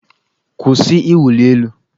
Kwụsị ịwụli elu!